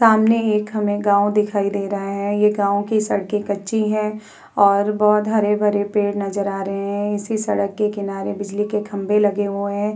सामने एक हमें गांव दिखाई दे रहा है। ये गांव की सड़कें कच्ची हैं और बोहोत हरे-भरे पेड़ नजर आ रहे हैं। इसी सड़क के किनारे बिजली के खंभे लगे हुए हैं।